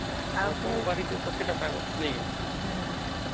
personal ବାରି ଟେ ସେଇଟା ପାଇବା ନାଇଁ କେ